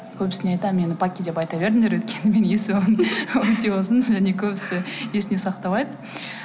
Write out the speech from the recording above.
көбісіне айтамын мені паки деп айта беріңдер өйткені менің есімім өте ұзын содан кейін көбісі есіне сақтамайды